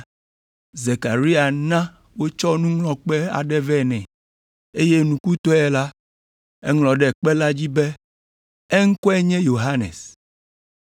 Zekaria na wotsɔ nuŋlɔkpe aɖe vɛ nɛ, eye nukutɔe la, eŋlɔ ɖe kpe la dzi be, “Eŋkɔe nye Yohanes.”